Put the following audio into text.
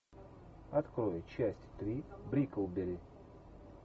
открой часть три бриклберри